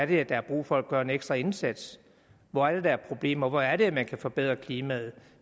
det er der er brug for at gøre en ekstra indsats hvor er det der er problemer hvor er det man kan forbedre klimaet